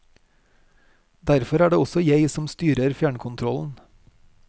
Derfor er det også jeg som styrer fjernkontrollen.